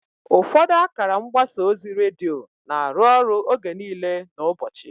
Ụfọdụ akara mgbasa ozi redio na-arụ ọrụ oge niile n'ụbọchị.